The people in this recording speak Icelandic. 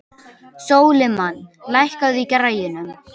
Sólimann, lækkaðu í græjunum.